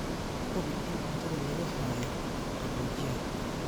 Hubi in cuntada lagu hayo qaboojiyaha.